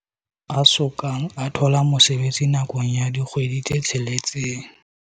a soka a thola mosebetsi nakong ya dikgwedi tse tsheletseng.